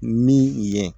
Min ye